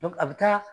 a bɛ taa